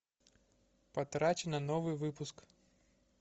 потрачено новый выпуск